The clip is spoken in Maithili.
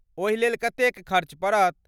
ओहि लेल कतेक खर्च पड़त?